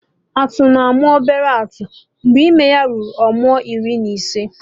Atụ na-amụ obele atụ mgbe ime ya ruru ọnwa iri na ise